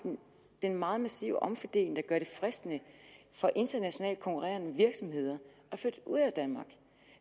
den meget massive omfordeling der gør det fristende for internationalt konkurrerende virksomheder at flytte ud af danmark